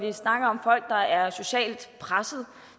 vi snakker om folk der er socialt presset